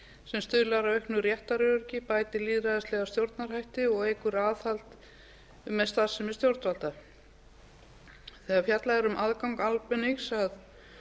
sem stuðlar að auknu réttaröryggi bætir lýðræðislega stjórnarhætti og eykur aðhald um starfsemi stjórnvalda þegar fjallað er um aðgang almennings að